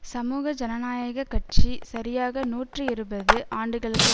சமூக ஜனநாயக கட்சி சரியாக நூற்றி இருபது ஆண்டுகளுக்கு